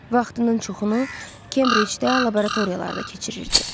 Vaxtının çoxunu Kembricdə laboratoriyalarda keçirirdi.